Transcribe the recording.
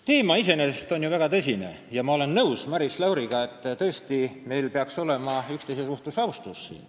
Teema on iseenesest ju väga tõsine ja ma olen nõus Maris Lauriga, et meil peaks siin tõesti üksteise vastu austus olema.